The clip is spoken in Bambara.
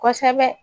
Kosɛbɛ